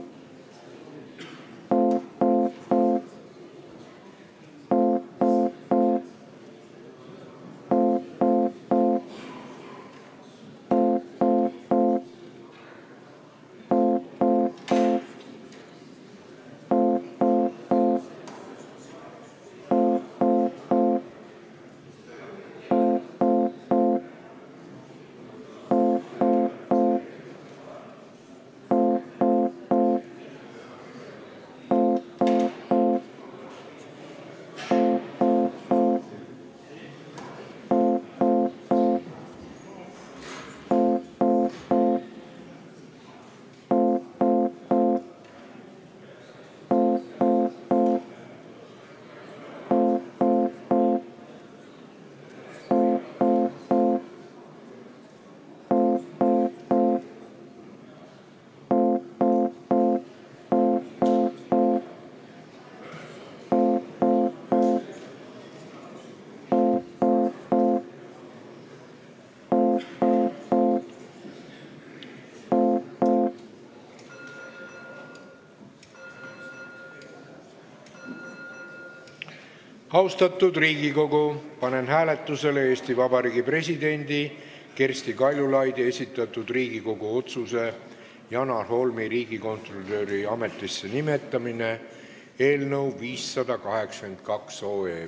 Austatud Riigikogu, panen hääletusele Eesti Vabariigi presidendi Kersti Kaljulaidi esitatud Riigikogu otsuse "Janar Holmi riigikontrolöri ametisse nimetamine" eelnõu 582.